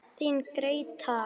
Þín Gréta.